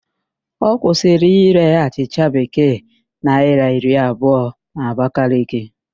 A kwusịrị írē achịcha Bekee naịra iri abụọ n'Abakaliki